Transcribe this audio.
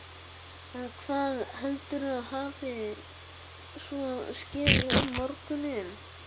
En hvað heldurðu að hafi svo skeð um morguninn?